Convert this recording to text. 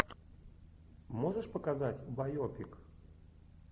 можешь показать байопик